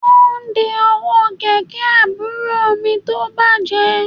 Wọ́n ń de ọwọ́ kẹ̀kẹ́ àbúrò mi tó bàjẹ́